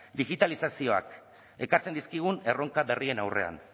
digitalizazioak ekartzen dizkigun erronka berrien aurrean